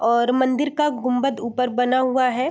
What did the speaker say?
और मंदिर का गुंबद ऊपर बना हुआ है।